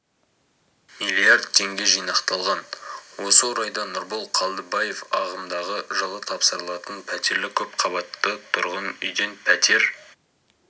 миллиард теңге жинақталған осы орайда нұрбол қалдыбаев ағымдағы жылы тапсырылатын пәтерлі көпқабатты тұрғын үйден пәтер